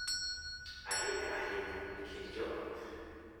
ahinya ahinya e kind joot.